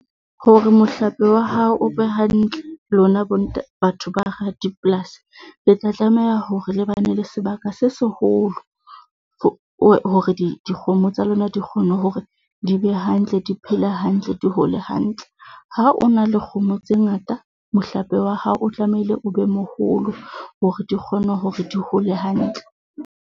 Hore mohlape wa hao o be hantle, lona batho ba hara dipolasi, le tla tlameha hore le bane le sebaka se seholo hore dikgomo tsa lona di kgone hore di be hantle, di phela hantle, di hole hantle. Ha o na le kgomo tse ngata, mohlape wa hao o tlamehile o be moholo hore di kgone hore di hole hantle.